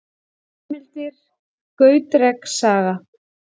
Heimildir: Gautreks saga.